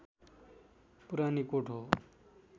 पुरानीकोट हो